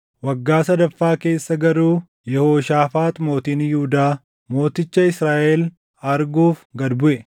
Waggaa sadaffaa keessa garuu Yehooshaafaax mootiin Yihuudaa mooticha Israaʼel arguuf gad buʼe.